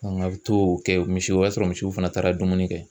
a bɛ t'o kɛ misiw o y'a sɔrɔ misiw fana taara dumuni kɛ.